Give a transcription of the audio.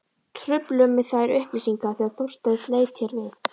Trufluðu mig þær upplýsingar þegar Þorsteinn leit hér við.